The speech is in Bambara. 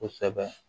Kosɛbɛ